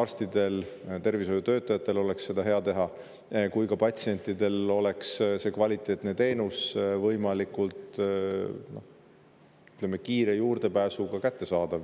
arstidel, tervishoiutöötajatel oleks seda hea teha, kui ka patsientidele oleks kvaliteetne teenus võimalikult kiiresti kättesaadav.